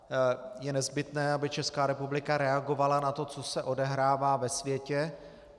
Je nezbytné, aby Česká republika reagovala na to, co se odehrává ve světě.